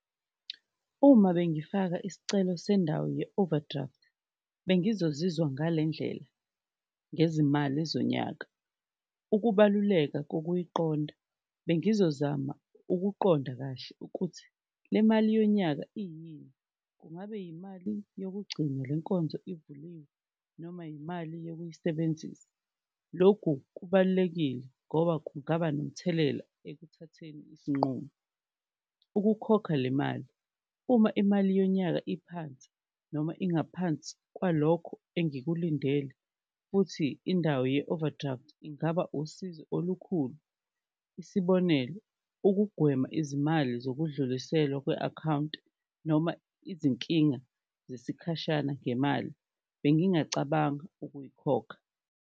Uma bengifaka iscelo sendawo ye-overdraft bengizozwa ngale ndlela ngezimali zonyaka, ukubaluleka kokuyiqonda bengizozama ukuqonda kahle ukuthi le mali yonyaka iyini, kungabe yimali yokugcina le nkonzo ivuliwe noma yimali yokuyisebenzisa, lokhu kubalulekile ngoba kungaba nomthelela ekuthatheni izinqumo. Ukukhokha le mali, uma imali yonyaka iphansi noma ingaphansi kwalokho engikulindele futhi indawo ye-overdraft ingaba usizo olukhulu, isibonelo ukugwema izimali zokudluliselwa kwe-akhawunti noma izinkinga zesikhashana ngemali, bengingacabanga ukuyikhokha.